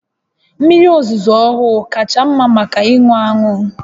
Mmiri ozuzo ọhụụ kacha mma maka ịṅụ aṅụ